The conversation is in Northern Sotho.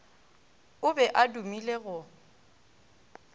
o be a dumile go